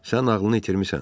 Sən ağlını itirmisən.